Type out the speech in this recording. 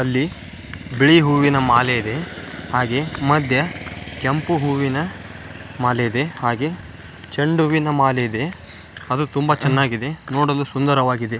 ಅಲ್ಲಿ ಬಿಳಿ ಹೂವಿನ ಮಾಲೆ ಇದೆ ಹಾಗೆ ಮಧ್ಯೆ ಕೆಂಪು ಹೂವಿನ ಮಾಲೆ ಇದೆ ಹಾಗೆ ಚೆಂಡು ಹೂವಿನ ಮಾಲೆ ಇದೆ ಅದು ತುಂಬಾ ಚೆನ್ನಾಗಿದೆ ನೋಡಲು ಸುಂದರವಾಗಿದೆ.